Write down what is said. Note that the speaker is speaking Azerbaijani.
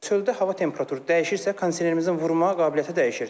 Çöldə hava temperaturu dəyişirsə, kondisionerimizin vurma qabiliyyəti dəyişir.